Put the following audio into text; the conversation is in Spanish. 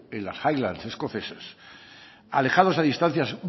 en las highlands escocesas alejados a distancias